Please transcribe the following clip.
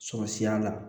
Sɔrɔsiya la